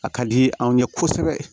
A ka di anw ye kosɛbɛ